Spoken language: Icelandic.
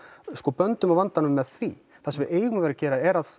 böndum á vandanum með því það sem við eigum að gera er að